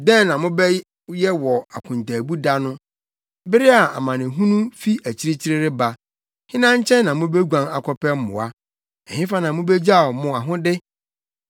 Dɛn na mobɛyɛ wɔ akontaabu da no, bere a amanehunu fi akyirikyiri reba? Hena nkyɛn na mubeguan akɔpɛ mmoa? Ɛhefa na mubegyaw mo ahode?